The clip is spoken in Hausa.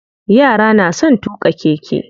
Yara na son tuƙa keke.